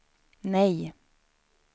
nej